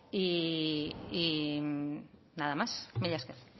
y nada más mila esker